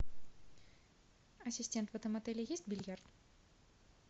ассистент в этом отеле есть бильярд